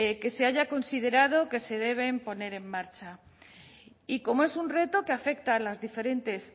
que se haya considerado que se deben poner en marcha y como es un reto que afecta a las diferentes